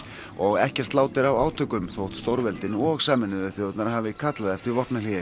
og ekkert lát er á átökum þótt stórveldin og Sameinuðu þjóðirnar hafi kallað eftir vopnahléi